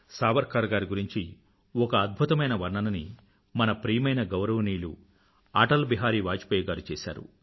సావర్కర్ గారి గురించి ఒక అద్భుతమైన వర్ణనని మన ప్రియమైన గౌరవనీయులు అటల్ బిహారీ వాజ్పాయ్ గారు చేసారు